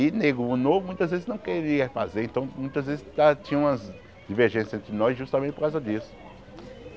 E, nego, novo muitas vezes não queria fazer, então, muitas vezes ah tinha umas divergências entre nós, justamente por causa disso.